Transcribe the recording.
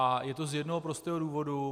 A je to z jednoho prostého důvodu.